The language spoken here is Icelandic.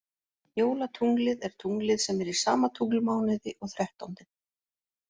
Jólatunglið er tunglið sem er í sama tunglmánuði og þrettándinn.